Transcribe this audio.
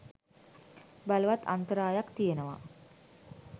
බලවත් අන්තරායක් තියෙනවා.